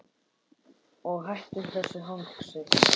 Og hættum þessu hangsi.